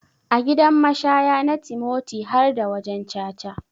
A gidan mashaya na timoti harda wajan caca.